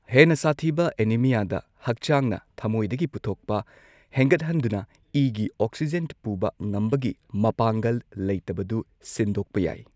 ꯍꯦꯟꯅ ꯁꯥꯊꯤꯕ ꯑꯦꯅꯤꯃꯤꯌꯥꯗ, ꯍꯛꯆꯥꯡꯅ ꯊꯃꯣꯏꯗꯒꯤ ꯄꯨꯊꯣꯛꯄ ꯍꯦꯟꯒꯠꯍꯟꯗꯨꯅ ꯏꯒꯤ ꯑꯣꯛꯁꯤꯖꯦꯟ ꯄꯨꯕ ꯉꯝꯕꯒꯤ ꯃꯄꯥꯡꯒꯜ ꯂꯩꯇꯕꯗꯨ ꯁꯤꯟꯗꯣꯛꯄ ꯌꯥꯏ꯫